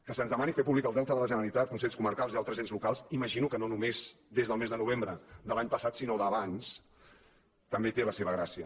que se’ns demani fer públic el deute de la generalitat amb consells comarcals i altres ens locals imagino que no només des del mes de novembre de l’any passat sinó d’abans també té la seva gràcia